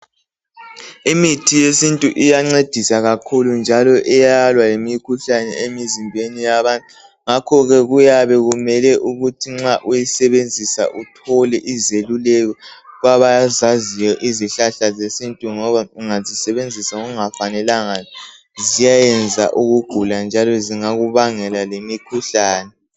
Imithi yesintu iyancedisa kakhulu njalo iyalwa lemikhuhlane emzimbeni yabantu, ngakho ke kuyabe kumele ukuthi nxa uyisebenzisa uthole izeluleko kwabazaziyo izihlahla ze sintu ngoba ungazisebenzisa ngokungafanelanga ziyayenza ukugula njalo zingakubangela lemikhuhlane.